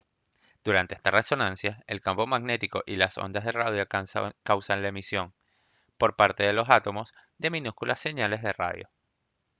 durante esta resonancia el campo magnético y las ondas de radio causan la emisión por parte de los átomos de minúsculas señales de radio